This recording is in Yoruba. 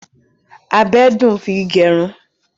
Bílèdì dùn fi gẹrun.